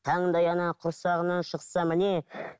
қандай ана құрсағынан шықса міне